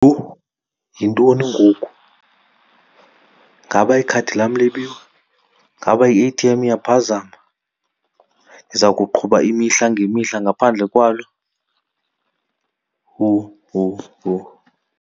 Yho! Yintoni ngoku? Ngaba ikhadi lam libiwe? Ngaba i-A_T_M iyaphazama? Ndiza kuqhuba imihla ngemihla ngaphandle kwalo? Yho! Yho! Yho!